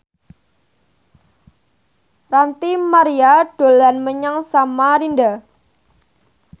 Ranty Maria dolan menyang Samarinda